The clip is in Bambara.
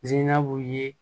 Ziinabu ye